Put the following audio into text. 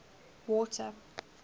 water